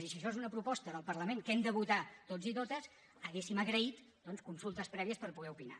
i si això és una proposta del parlament que hem de votar tots i totes hauríem agraït doncs consultes prèvies per poder opinar